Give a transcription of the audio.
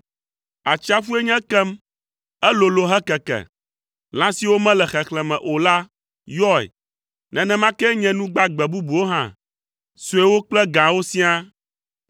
Atsiaƒue nye ekem, elolo hekeke, lã siwo mele xexlẽme o la yɔe, nenema kee nye nu gbagbe bubuwo hã, suewo kple gãwo siaa.